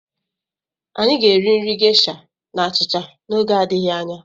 Anyị ga-eri nri Gesha na achịcha n'oge adịghị anya.